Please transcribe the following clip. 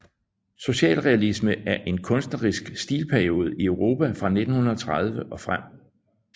Socialrealisme er en kunstnerisk stilperiode i Europa fra 1930 og frem